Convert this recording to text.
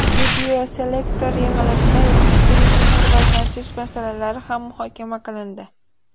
Videoselektor yig‘ilishida ichki turizmni rivojlantirish masalalari ham muhokama qilindi.